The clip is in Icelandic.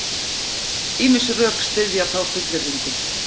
Ýmis rök styðja þá fullyrðingu.